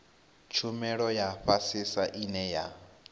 tshumelo ya fhasisa ine ya